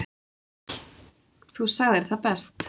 Þú sagðir það best.